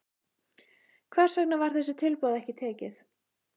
Hvers vegna var þessu tilboði ekki tekið?